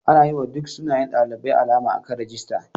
Ana yiwa duk sunayen ɗalibai alama akan rijista.